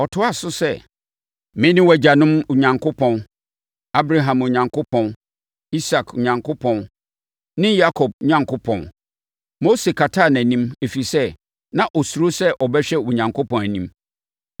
Ɔtoaa so sɛ, “Mene wʼagyanom Onyankopɔn—Abraham Onyankopɔn, Isak Onyankopɔn ne Yakob Onyankopɔn.” Mose kataa nʼanim, ɛfiri sɛ, na ɔsuro sɛ ɔbɛhwɛ Onyankopɔn anim.